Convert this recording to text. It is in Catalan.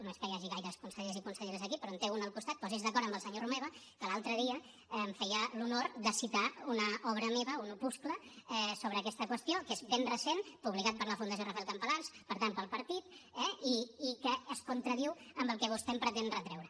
no és que hi hagi gaires consellers i conselleres aquí però en té un al costat posi’s d’acord amb el senyor romeva que l’altre dia feia l’honor de citar una obra meva un opuscle sobre aquesta qüestió que és ben recent publicat per la fundació rafael campalans per tant pel partit eh i que es contradiu amb el que vostè em pretén retreure